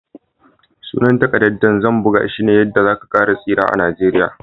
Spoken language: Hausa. Sunan takaddan da zan buga shine"Yadda za ka tsira a'Nijeriya."